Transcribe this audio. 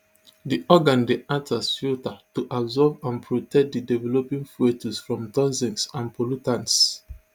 di organ dey act as filter to absorb and protect di developing foetus from toxins and pollutants